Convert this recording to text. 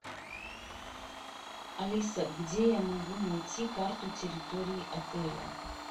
алиса где я могу найти карту территории отеля